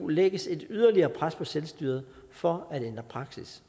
lægges et yderligere pres på selvstyret for at ændre praksis